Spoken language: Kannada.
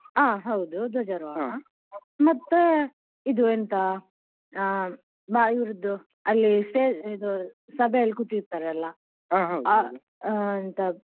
ಅಹ್ ಹೌದು ಧ್ವಜಾರೋಹಣ ಮತ್ತೆ ಇದು ಎಂತ ಅಹ್ ಇವ್ರದ್ದು ಅಲ್ಲಿ stage ಅಲ್ಲಿ ಸಭೆಯಲ್ಲಿ ಕೂತಿರ್ತಾರಲ್ಲ ಎಂಥಾ